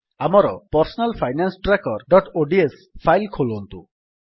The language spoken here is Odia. ଆମର personal finance trackerଓଡିଏସ ଫାଇଲ୍ ଖୋଲନ୍ତୁ